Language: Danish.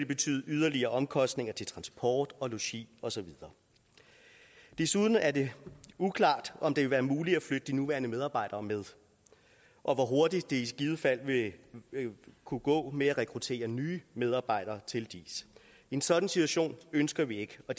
betyde yderligere omkostninger til transport logi og så videre desuden er det uklart om det vil være muligt at flytte de nuværende medarbejdere med og hvor hurtigt det vil kunne gå med at rekruttere nye medarbejdere til diis en sådan situation ønsker vi ikke og